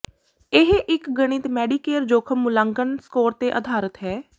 ਇਹ ਇੱਕ ਗਣਿਤ ਮੈਡੀਕੇਅਰ ਜੋਖਮ ਮੁਲਾਂਕਣ ਸਕੋਰ ਤੇ ਅਧਾਰਤ ਹੈ